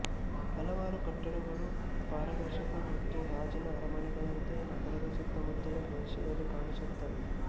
ಹಲವಾರು ಕಟ್ಟಡಗಳು ಪಾರದರ್ಶಕ ಮತ್ತು ಗಾಜಿನ ಅರಮನೆಗಳಂತೆ ನಗರದ ಸುತ್ತಮುತ್ತಲಿನ ಪ್ರದೇಶದಲ್ಲಿ ಕಾಣಸಿಗುತ್ತವೆ